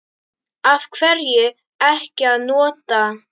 Af hverju ekki að nota?